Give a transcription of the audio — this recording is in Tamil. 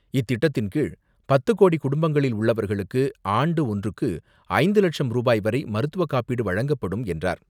இத்திட்டத்தின் கீழ் பத்து கோடி குடும்பங்களில் உள்ளவர்களுக்கு ஆண்டு ஒன்றுக்கு ஐந்து லட்சம் ரூபாய் வரை மருத்துவ காப்பீடு வழங்கப்படும் என்றார்.